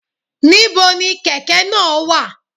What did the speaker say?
Ní bo ni kèkè náà wà?